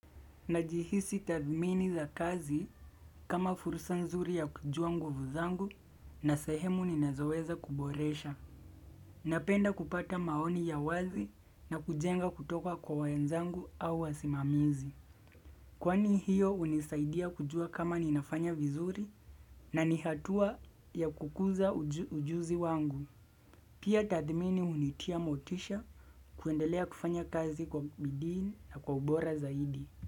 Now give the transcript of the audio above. Najihisi tathmini za kazi kama fursa nzuri ya kujua nguvu zangu na sahemu ninazoweza kuboresha. Napenda kupata maoni ya wazi na kujenga kutoka kwa wenzangu au wasimamizi. Kwani hiyo hunisaidia kujua kama ninafanya vizuri na ni hatua ya kukuza ujuzi wangu. Pia tathmini hunitia motisha kuendelea kufanya kazi kwa bidii na kwa ubora zaidi.